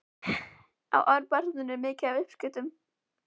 Á Árbæjarsafnið mikið af uppskriftum?